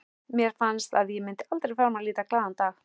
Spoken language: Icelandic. Mér fannst að ég myndi aldrei framar líta glaðan dag.